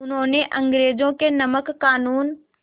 उन्होंने अंग्रेज़ों के नमक क़ानून